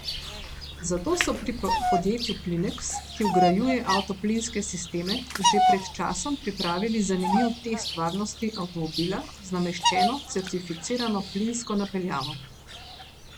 Zato so pri podjetju Plineks, ki vgrajuje avtoplinske sisteme, že pred časom pripravili zanimiv test varnosti avtomobila z nameščeno certificirano plinsko napeljavo.